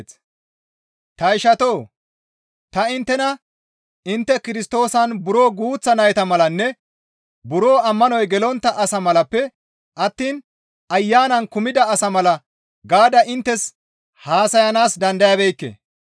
Ta ishatoo! Ta inttena intte Kirstoosan buro guuththa nayta malanne buro ammanoy gelontta asa malappe attiin Ayanan kumida asa mala gaada inttes haasayanaas dandayabeekke.